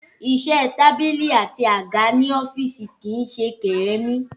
Iṣẹ́ tábìlì àti àga ní ọ́fíìsì kìí ṣe kèremí